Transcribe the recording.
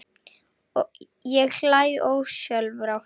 Ég hlæ ósjálfrátt.